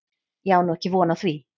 Ég á nú ekki von á því.